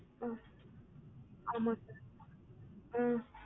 ம் ஆமா sir ம்ம்